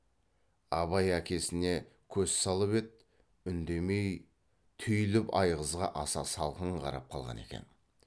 абай әкесіне көз салып еді үндемей түйіліп айғызға аса салқын қарап қалған екен